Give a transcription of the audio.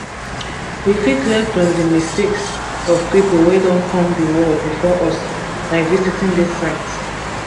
we fit learn from di mistakes of pipo wey don come di world before us by visiting these sites